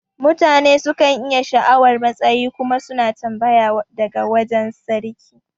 Mutane sukan iya sha'awar matsayi kuma suna tambaya daga wajan sarki